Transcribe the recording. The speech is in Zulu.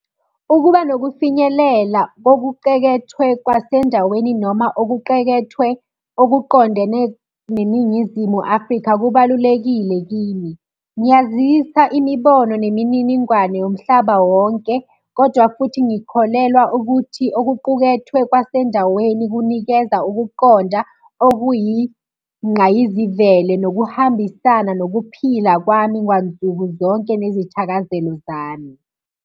Ukuba nokufinyelela kokuqekethwe kwasendaweni noma okuqekethwe okuqondene neNingizimu Afrika kubalulekile kimi. Ngiyazisa imibono nemininingwane yomhlaba wonke, kodwa futhi ngikholelwa ukuthi okuqukethwe kwasendaweni kunikeza ukuqonda okuyingqayizivele nokuhambisana nokuphila kwami kwansuku zonke nezithakazelo zami.